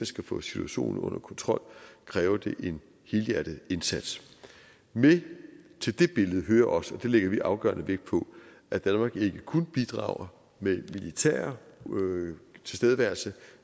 skal få situationen under kontrol kræver en helhjertet indsats med til det billede hører også og det lægger vi afgørende vægt på at danmark ikke kun bidrager med militær tilstedeværelse